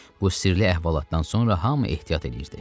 Bu sirli əhvalatdan sonra hamı ehtiyat eləyirdi.